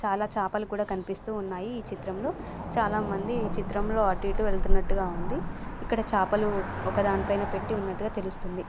చాల చాపలు కూడ కనిపిస్తున్నాయి ఈ చిత్రం లొ. చాల మంది ఈ చిత్రంలొ అటుఇటు వెళ్తున్నట్టుగా ఉంది. ఇక్కడ చాపలు ఒక దానిపైన పెట్టి ఉన్నట్టుగా తెలుస్తుంది.